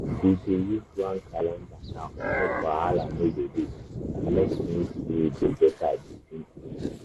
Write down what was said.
we dey use one calendar now make wahala no go dey and make things dey dey better between us.